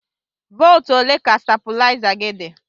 Volt ole ka stabuliza gi di?